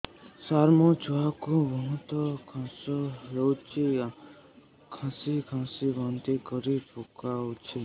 ସାର ମୋ ଛୁଆ କୁ ବହୁତ କାଶ ହଉଛି କାସି କାସି ବାନ୍ତି କରି ପକାଉଛି